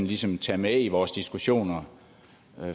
ligesom kan tage med i vores diskussioner